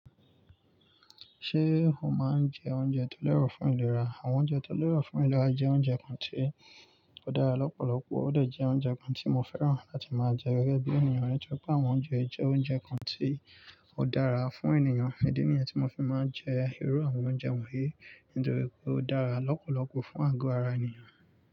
Ṣé o máa ń jẹ oúnjẹ tó lẹ́rọ̀ fún ìlera? Àwọn oúnjẹ tó lẹ́rọ̀ fún ìlera jẹ́ oúnjẹ kan tí ó dára lọ́pọ̀lọpọ̀, ó dẹ̀ jẹ́ oúnjẹ kan tí mo fẹ́ràn láti máa jẹ gẹ́gẹ́ bí ènìyàn, nítorí pé àwọn oúnjẹ jẹ́ oúnjẹ kan tí ó dára fún ènìyàn. Idi niyen tí mo fi máa ń jẹ irú àwọn oúnjẹ wọ̀nyí nítorí pé ó dára lọ́pọ̀lọpọ̀ fún àgọ́ ara ènìyàn.